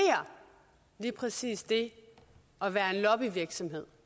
lige præcis det at være en lobbyvirksomhed